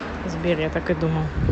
сбер я так и думал